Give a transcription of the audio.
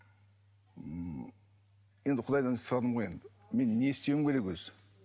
ммм енді құдайдан сұрадым ғой енді мен не істеуім керек өзі